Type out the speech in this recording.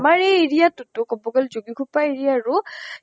আমাৰ এই area তোটো কব গলে যোগিঘোপা area আৰু